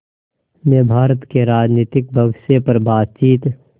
ने भारत के राजनीतिक भविष्य पर बातचीत